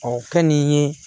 Ɔ kɛ nin ye